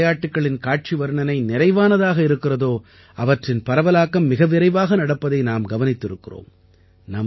எந்த விளையாட்டுக்களின் காட்சி வர்ணனை நிறைவானதாக இருக்கிறதோ அவற்றின் பரவலாக்கம் மிக விரைவாக நடப்பதை நாம் கவனித்திருக்கிறோம்